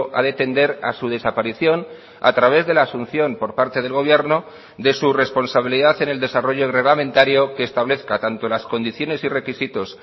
a de tender a su desaparición a través de la asunción por parte del gobierno de su responsabilidad en el desarrollo reglamentario que establezca tanto las condiciones y requisitos